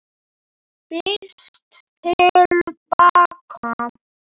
FYRST TIL BAKA.